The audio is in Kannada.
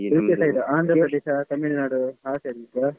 ಈಚೆ side, Andhra Pradesh, Tamil Nadu ಆ side ಇದ್ದಾ?